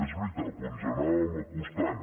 és veritat però ens hi anàvem acostant